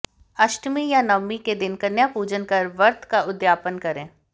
अष्टमी या नवमी के दिन कन्या पूजन कर व्रत का उद्यापन करें